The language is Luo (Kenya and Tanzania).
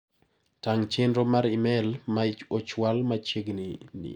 Tang' chenro mar imel ma ochwal machieg'ni ni.